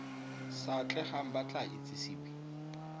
sa atlegang ba tla itsisiwe